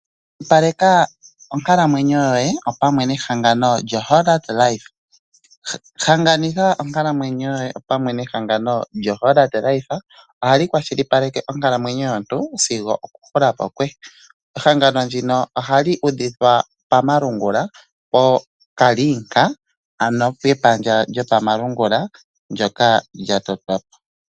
Kwashilipaleka onkalamwenyo your nehangano lyo Hollard life. Hanaganitha onkalamwenyo yoye nehangano lyo Hollard life, ohali kwashilipaleke onkalamwneyo yomuntu sigo oku hula po kwe. Ehangano ndino ohali udhidhwa pamalungula kepandja lyawo lyokomalungula ndyoka lya totwa po.